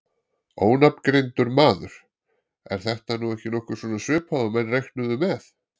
Ónafngreindur maður: Er þetta nú ekki nokkuð svona svipað og menn reiknuðu með?